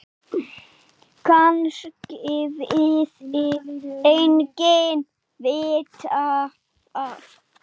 Kannski vildi enginn vita það.